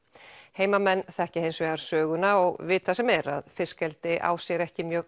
heimamenn þekkja hins vegar söguna og vita sem er að fiskeldi á sér ekki mjög